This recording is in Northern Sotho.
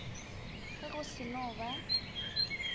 ge go se no ba